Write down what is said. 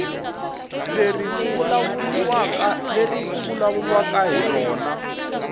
leri ku vulavuriwaka hi rona